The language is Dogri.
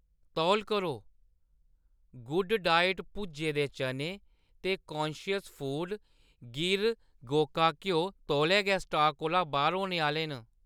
तौल करो, गुड डाइट भुज्जे दे चने ते कांशियस फूड गिर गोका घ्यो तौले गै स्टाक कोला बाह्‌‌र होने आह्‌‌‌ले न।